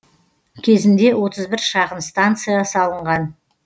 кезінде отыз бір шағын станция салынған